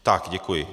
Tak, děkuji.